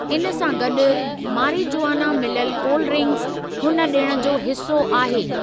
इन सां गॾु, मारिजुआना मिलियलु कोल्ड ड्रिंक्स, हुन डि॒ण जो हिस्सो आहे।